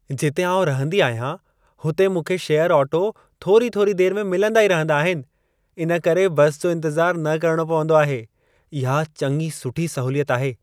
जिते आउं रहंदी आहियां हुते मूंखे शेयर ऑटो थोरी थोरी देर में मिलंदा ई रहंदा आहिनि, इन करे बस जो इंतजारु न करणो पवंदो आहे। इहा चङी सुठी सहूलियत आहे।